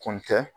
Kun tɛ